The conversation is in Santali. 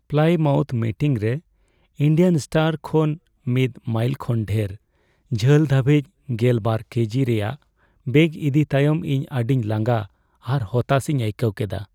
ᱯᱞᱟᱭᱢᱟᱣᱩᱛᱷ ᱢᱮᱴᱤᱝ ᱨᱮ ᱤᱱᱰᱤᱭᱟᱱ ᱥᱴᱚᱨ ᱠᱷᱚᱱ ᱢᱤᱫ ᱢᱟᱭᱤᱞ ᱠᱷᱚᱱ ᱰᱷᱮᱨ ᱡᱷᱟᱹᱞ ᱫᱷᱟᱹᱵᱤᱡ ᱒᱐ ᱠᱟᱹᱡᱤ ᱨᱮᱭᱟᱜ ᱵᱮᱜᱽ ᱤᱫᱤ ᱛᱟᱭᱚᱢ ᱤᱧ ᱟᱹᱰᱤ ᱞᱟᱸᱜᱟ ᱟᱨ ᱦᱚᱛᱟᱥᱤᱧ ᱟᱹᱭᱠᱟᱹᱣ ᱠᱮᱫᱟ ᱾